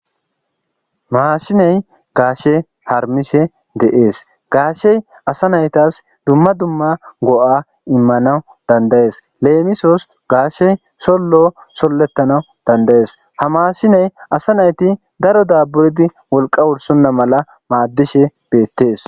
maashiney gaashe harmishe deees gaashey asa naytas dumma dumma go7a immanawu dandayees leemisos gaashe sollo sollettanawu dandayees ha maashiney asa nayti daro daaburdi wolqa wursonna mala maaddishe beettees